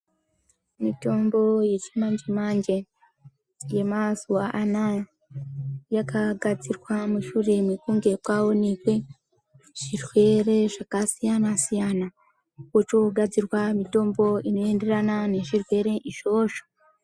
Mitombo yechimanje-manje yemazuva anaya yakagadzirwa mushure mekunge kwaonekwe zvirwere zvakasiyana-siyana, kochoogadzirwa mitombo inoeenderana nezvirwere izvozvo.